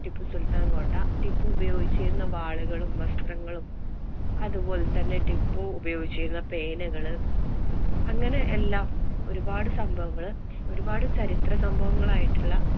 ടിപ്പു സുല്‍ത്താന്‍ കോട്ട ടിപ്പു ഉപയോഗിച്ചിരുന്ന വാളുകളും, വസ്ത്രങ്ങളും അതുപോലെ ടിപ്പു ഉപയോഗിച്ചിരുന്ന പേനകള് അങ്ങനെ എല്ലാം ഒരു പാട് സംഭവങ്ങള് ഒരു പാട് ചരിത്ര സംഭവങ്ങളായിട്ടുള്ള